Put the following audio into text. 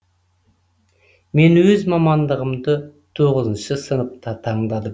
мен өз мамандығымды тоғызыншы сыныпта таңдадым